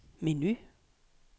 menu